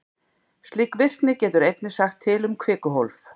Slík virkni getur einnig sagt til um kvikuhólf.